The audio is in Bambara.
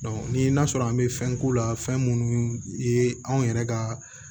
ni n'a sɔrɔ an be fɛn k'u la fɛn munnu ye anw yɛrɛ ka